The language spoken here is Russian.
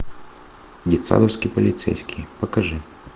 детсадовский полицейский покажи